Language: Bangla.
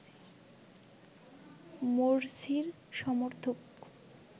মোরসির সমর্থক